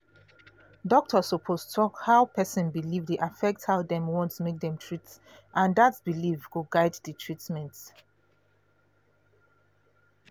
doctor suppose talk how person belief dey affect how dem want make dem treat and that belief go guide the treatment